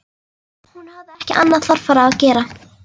Hún hafði ekki annað þarfara að gera.